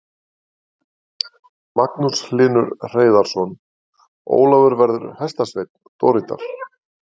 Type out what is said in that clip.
Magnús Hlynur Hreiðarsson: Ólafur verður hestasveinn Dorritar?